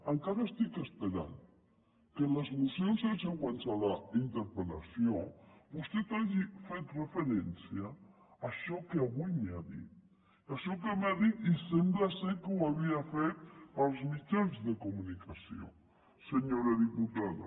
encara estic esperant que en les mocions subsegüents a la interpel·lació vostè hagi fet referència a això que avui m’ha dit a això que m’ha dit i sembla que ho havia fet pels mitjans de comunicació senyora diputada